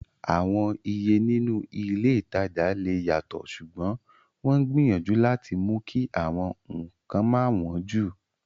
Àwọn Iye nínú ilé ìtajà lè yàtọ̀, ṣùgbọ́n wọ́n ń gbìyànjú láti mú kí àwọn nǹkan má wọn jù